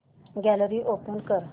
gallery open कर